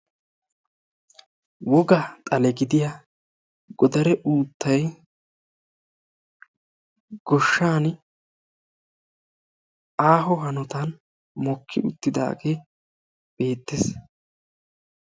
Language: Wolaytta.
Wogaa xalee gidiya godaree uuttay goshshan aaho hanotan mokki uttidaage beetees.